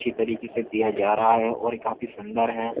अच्छी तरीके से दिया जा रहा है और काफी सुंदर है।